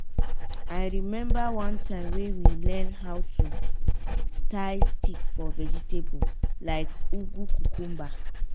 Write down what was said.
i remember one time wey we learn how to tie stick for vegetable like ugu cucumber